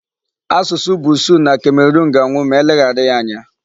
Asụsụ Busuu na Cameroon ga-anwụ ma e leghara ya anya.